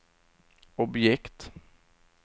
objekt